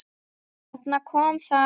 Þarna kom það.